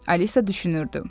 Alisa düşünürdü.